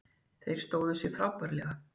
Þeir stóðu sig frábærlega